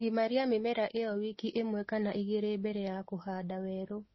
Gimaria mĩmera ĩyo wiki ĩmwe kana igĩlĩ mbele ya kũhanda werũ